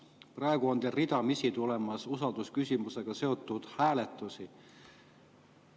Praegu on ridamisi tulemas usaldusküsimusega seotud hääletusi.